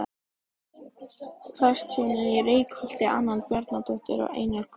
Prestshjónin í Reykholti- Anna Bjarnadóttir og Einar Guðnason.